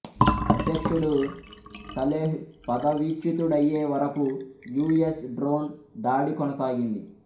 అధ్యక్షుడు సలేహ్ పదవీచ్యుతుడయ్యే వరకు యు ఎస్ డ్రోన్ దాడి కొనసాగింది